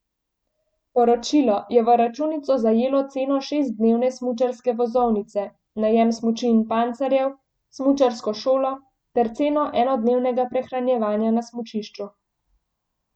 Poročilo je v računico zajelo ceno šestdnevne smučarske vozovnice, najem smuči in pancerjev, smučarsko šolo ter ceno enodnevnega prehranjevanja na smučišču.